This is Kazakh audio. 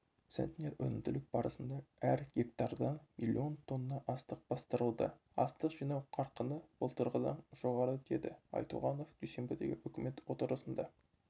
центнер өнімділік барысында әр гектардан млн тонна астық бастырылды астық жинау қарқыны былтырғыдан жоғары деді айтуғанов дүйсенбідегі үкімет отырысында